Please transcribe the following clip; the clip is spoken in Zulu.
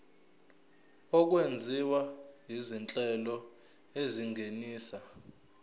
okwenziwa izinhlelo ezingenisa